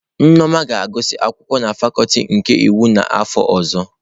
Nneoma ga-agụsị akwụkwọ na fakuti nke iwu n'afọ ọzọ.